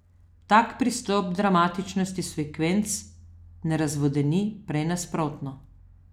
Tak pristop dramatičnih sekvenc ne razvodeni, prej nasprotno.